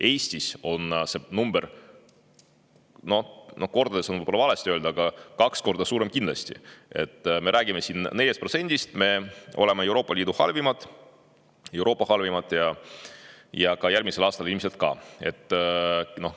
Eestis on see number, kordades on võib-olla valesti öeldud, aga kaks korda suurem kindlasti, me räägime siin 4%‑st. Me oleme Euroopa Liidu halvimad, Euroopa halvimad, ja järgmisel aastal ilmselt ka.